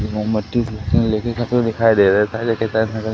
मोमबत्ती लेते दिखाई दे रहे हैं पहले के तरह --